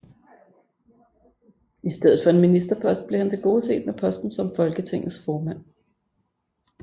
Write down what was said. I stedet for en ministerpost blev han tilgodeset med posten som Folketingets formand